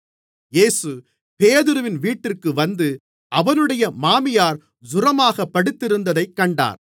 இயேசு பேதுருவின் வீட்டிற்கு வந்து அவனுடைய மாமியார் ஜூரமாகப் படுத்திருந்ததைக் கண்டார்